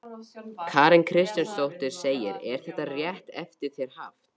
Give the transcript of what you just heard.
Karen Kjartansdóttir: Er þetta rétt eftir þér haft?